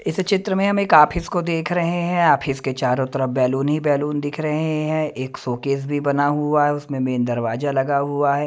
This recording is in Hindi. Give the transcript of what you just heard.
इस चित्र में हम एक ऑफिस को देख रहे हैं ऑफिस के चारों तरफ बैलून ही बैलून दिख रहे हैं एक शोकेस भी बना हुआ है उसमें मेन दरवाजा लगा हुआ है।